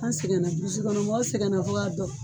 An sɛgɛnna burusikɔnɔ mɔgɔ sɛgɛnna fo k'a